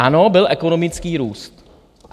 Ano, byl ekonomický růst.